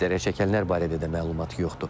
Zərərçəkənlər barədə də məlumat yoxdur.